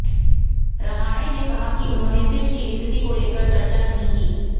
रहाणे ने कहा कि उन्होंने पिच की स्थिति को लेकर चर्चा नहीं की